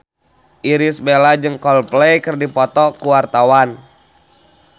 Irish Bella jeung Coldplay keur dipoto ku wartawan